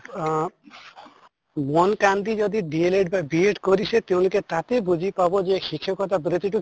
আহ মন কান দি যদি DL Ed বা B Ed কৰিছে তেওঁলোকে তাতে বুজি পাব যে শিক্ষকতা বৃত্তিতো